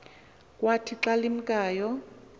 kwathi xa limkayo